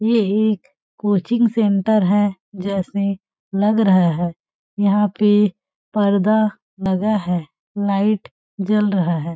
ये एक coaching centre है जैसे लग रहा है यहां पे पर्दा लगा है लाइट जल रहा है।